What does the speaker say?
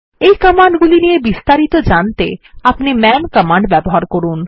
এই কমান্ড গুলি নিয়ে বিস্তারিত জানতে আপনি মান কমান্ড ব্যবহার করুন